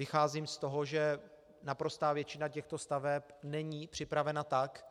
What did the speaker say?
Vycházím z toho, že naprostá většina těchto staveb není připravena tak,